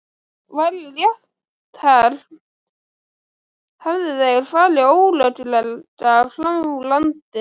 Væri rétt hermt, hefðu þeir farið ólöglega frá landinu.